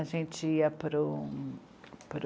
A gente ia para o, para o